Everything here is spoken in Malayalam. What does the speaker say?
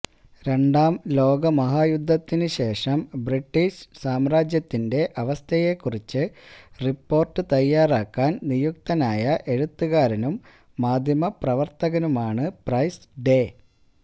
രണ്ടാംലോകയുദ്ധത്തിനുശേഷം ബ്രിട്ടീഷ് സാമ്രാജ്യത്തിന്റെ അവസ്ഥയെക്കുറിച്ച് റിപ്പോർട്ട് തയ്യാറാക്കാൻ നിയുക്തനായ എഴുത്തുകാരനും മാധ്യമപ്രവർത്തകനുമാണ് പ്രൈസ് ഡേ